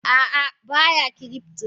Ah ah baya cryptor.